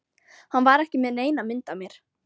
Hann var ekki með neina mynd af mér